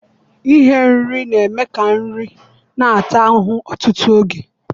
Ighe nri na-eme ka nri na-ata ahụhụ ọtụtụ oge.